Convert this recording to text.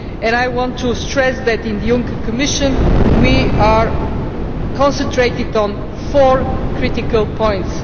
I want to stress that in the Juncker Commission we are concentrated on four critical points.